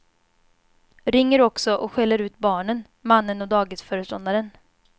Ringer också och skäller ut barnen, mannen och dagisföreståndaren.